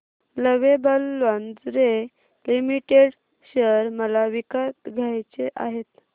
lovable Lingerie Limited share मला विकत घ्यायचे आहेत